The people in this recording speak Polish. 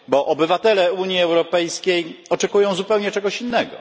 Obywatele Unii Europejskiej oczekują zupełnie czegoś innego.